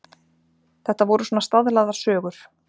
Þetta voru svona staðlaðar sögur.